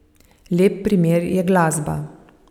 Lep primer je glasba.